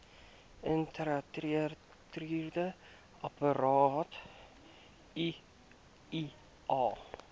intrauteriene apparaat iua